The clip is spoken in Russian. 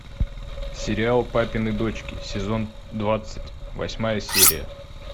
сериал папины дочки сезон двадцать восьмая серия